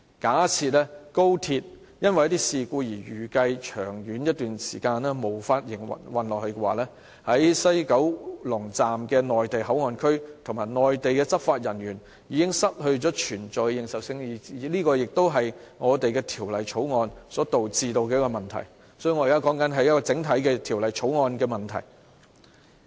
假設高鐵因為一些事故而預計在一段長時間之內無法繼續營運，西九龍站的內地口岸區及內地執法人員的保存便失去了認受性，這就是《條例草案》所導致的問題，所以，我現在說的是《條例草案》整體的問題。